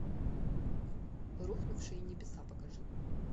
рухнувшие небеса покажи